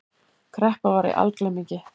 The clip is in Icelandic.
Kreppa var í algleymingi.